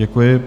Děkuji.